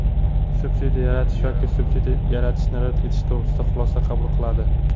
subsidiya ajratish yoki subsidiya ajratishni rad etish to‘g‘risida xulosa qabul qiladi.